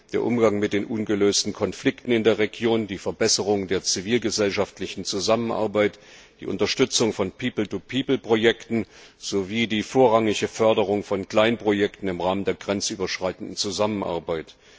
der Umgang mit den ungelösten Konflikten in der Region, die Verbesserung der zivilgesellschaftlichen Zusammenarbeit, die Unterstützung von Projekten sowie die vorrangige Förderung von Kleinprojekten im Rahmen der grenzüberschreitenden Zusammenarbeit.